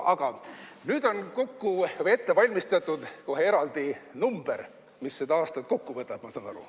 Aga nüüd on ette valmistatud kohe eraldi number, mis seda aastat kokku võtab, ma saan aru.